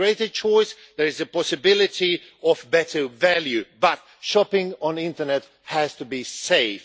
There is a greater choice, there is a possibility of better value, but shopping on the internet has to be safe.